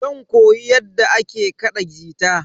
Zan koyi yadda ake kaɗa gita.